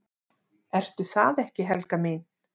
"""Ertu það ekki, Helga mín?"""